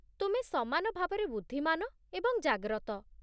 ତୁମେ ସମାନ ଭାବରେ ବୁଦ୍ଧିମାନ ଏବଂ ଜାଗ୍ରତ।